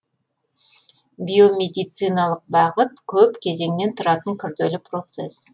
биомедициалық бағыт көп кезеңнен тұратын күрделі процес